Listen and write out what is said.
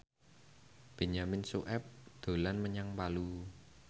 Benyamin Sueb dolan menyang Palu